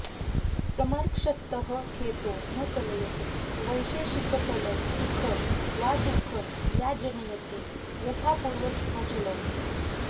समर्क्षस्थः खेतो न कलयति वैशेषिकफलं सुखम् वा दुःखं या जनयति यथापूर्वमचलम्